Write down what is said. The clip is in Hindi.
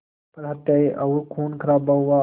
पर हत्याएं और ख़ूनख़राबा हुआ